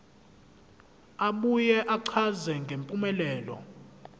abuye achaze ngempumelelo